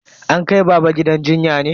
An kai baba gidan jinya ne?